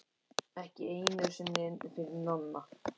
Ekki einu sinni fyrir Nonna.